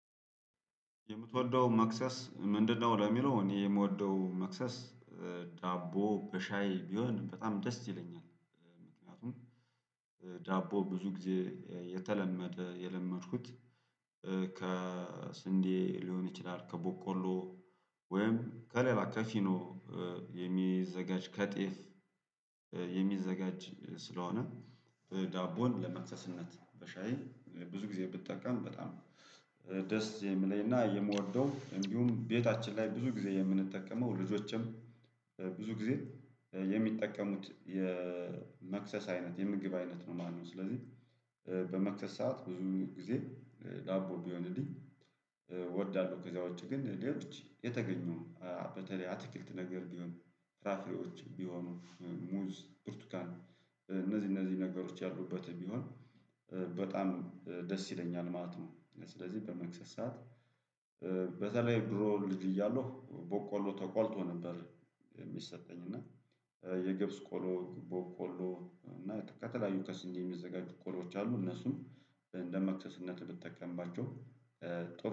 የምትወደው መክሰስ ምንድነው? ለሚለው እኔ የምወደው መክሰስ ዳቦ በሻይ ቢሆን በጣም ደስ ይለኛል። ምክንያቱም ዳቦ ብዙ ጊዜ የተለመደ የለመድኩት ከስንዴ ሊሆን ይችላል ከቦቆሎ ወይም ከሌላ ከፊኖ የሚዘጋጅ ከጤፍ የሚዘጋጅ ስለሆነ ዳቦን ለመክሰስነት በሻይ ብዙ ጊዜ ብጠቀም በጣም ደስ የሚለኝና የምወደው የሚሆን ቤታችን ላይ ብዙ ጊዜ የምንጠቀመው ልጆቼም ብዙ ጊዜ የሚጠቀሙት የመክሰስ አይነት የምግብ አይነት ነው። ማነው ስለዚህ በመክሰስ ሰዓት ብዙ ጊዜ ዳቦ ቢሆንልኝ እወዳለሁ። ከዚያው ውጪ ግን ሌሎች የተገኙም በተለይ አትክልት ነገር ቢሆን ፍራፍሬዎች ቢሆኑ ሙዝ ብርቱካን እነዚህ እነዚህ ነገሮች ያሉበት ቢሆን በጣም ደስ ይለኛል ማለት ነው። ስለዚህ በመክሰስ ሰዓት በተለይ ድሮ ልጅ እያለሁ ቦቆሎ ተቆልቶ ነበር። የሚሰጠኝ እና የገብስ ቆሎ የቦቆሎ እና ከተለያዩ ከስስዴ የሚዘጋጁ ቆሎዎች አሉ እነሱም እንደ መክሰስነት ብጠቀማቸው ጥሩ ነው